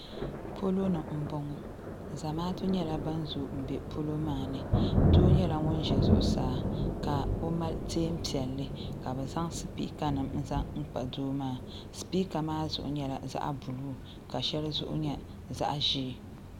Poloni m boŋɔ zamaatu nyɛla nan zoogi m be polo maani doo nyɛla ŋun ʒe zuɣusaa ka o mali teenpiɛlli ka bɛ zaŋ sipiika n zaŋ kpa doo maa sipiika maa zuɣu nyɛla zaɣa buluu ka sheli zuɣu nyɛ zaɣa ʒee.